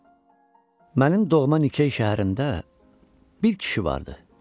Mənim doğma Nikey şəhərində bir kişi vardı.